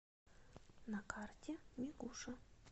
на карте мигуша